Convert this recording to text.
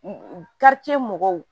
mɔgɔw